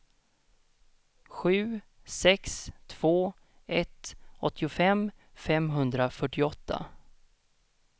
sju sex två ett åttiofem femhundrafyrtioåtta